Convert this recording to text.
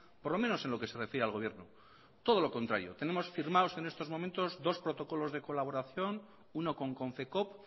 por lo menos en lo que se refiere al gobierno todo lo contrario tenemos firmados en estos momentos dos protocolos de colaboración uno con confecoop